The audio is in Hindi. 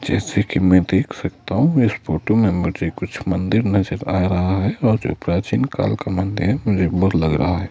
जैसे कि मैं देख सकता हूं इस फोटो में मुझे कुछ मंदिर नजर आ रहा है और जो प्राचीन काल का मंदिर मुझे लग रहा--